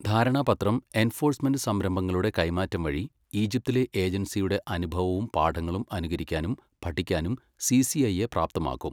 ധാരണാപത്രം, എൻഫോഴ്സ്മെന്റ് സംരംഭങ്ങളുടെ കൈമാറ്റം വഴി, ഈജിപ്തിലെ ഏജൻസിയുടെ അനുഭവവും പാഠങ്ങളും അനുകരിക്കാനും പഠിക്കാനും സി സി ഐ യെ പ്രാപ്തമാക്കും,